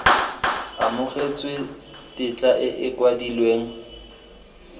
amogetswe tetla e e kwadilweng